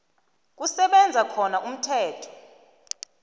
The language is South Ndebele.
kusebenza khona umthetho